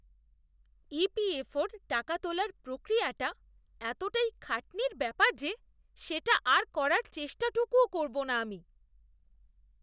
EPFO র টাকা তোলার প্রক্রিয়াটা এতটাই খাটনির ব্যাপার যে সেটা আর করার চেষ্টাটুকুও করবো না আমি।